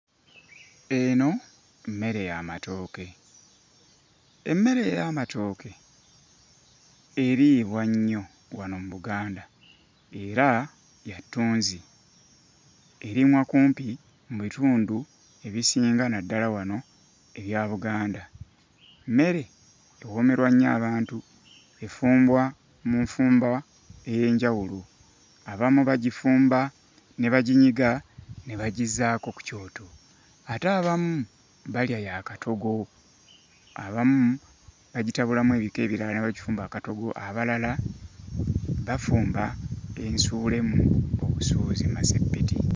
Eno mmere ya matooke emmere ey'amatooke eriibwa nnyo wano mu Buganda era ya ttunzi erimwa kumpi mu bitundu ebisinga naddala wano ebya Buganda mmere ewoomerwa nnyo abantu efumbwa mu nfumba ey'enjawulo, abamu bagifumba ne baginyiga ne bagizzaako ku kyoto. Ate abamu balya ya katogo abamu bagitabulamu ebika ebirala ne bagifumba akatogo abalala bafumba ensuulemu obusuuzi mmaseppiti.